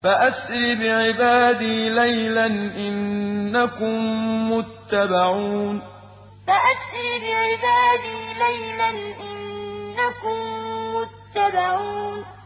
فَأَسْرِ بِعِبَادِي لَيْلًا إِنَّكُم مُّتَّبَعُونَ فَأَسْرِ بِعِبَادِي لَيْلًا إِنَّكُم مُّتَّبَعُونَ